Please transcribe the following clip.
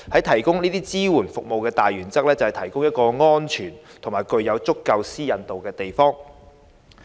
提供有關支援服務的大原則，就是提供一個安全及具足夠私隱度的地方。